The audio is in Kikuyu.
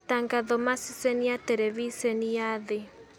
Matangatho ma-ceceni ya tereviceni ya Thĩ.